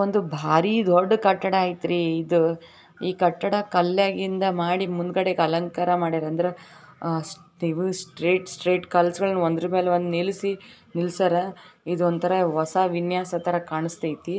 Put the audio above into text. ಒಂದು ಭಾರೀ ರೋಡ್ ಕಟ್ಟಡ ಐತ್ರಿ ಇದು ಈ ಕಟ್ಟಡ ಕಲ್ಲಿನ ಮಾಡಿದ್ದು ಮುಂದಗಡೆ ಅಲಂಕಾರ ಮಾಡಿದ್ದಾರೆ ಸ್ಟ್ರೈಟ್ ಕಲ್ಲುಗಳು ಒಂದರ ಮೇಲೊಂದು ನಿಲ್ಸರ ಇದು ಒಂತರ ಹೊಸ ವಿನ್ಯಾಸತರ ಕಾಣ್ತಿದೆ